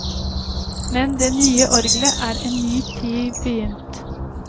Med det nye orglet er en ny tid begynt.